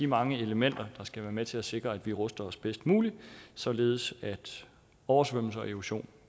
mange elementer der skal være med til at sikre at vi ruster os bedst muligt således at oversvømmelser og erosion